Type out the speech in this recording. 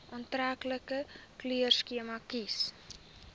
aantreklike kleurskema kies